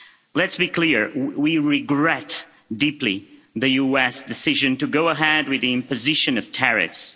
Let's be clear we regret deeply the US decision to go ahead with the imposition of tariffs.